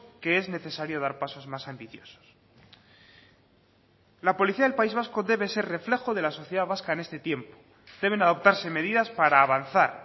que es necesario dar pasos más ambiciosos la policía del país vasco debe ser reflejo de la sociedad vasca en este tiempo deben adoptarse medidas para avanzar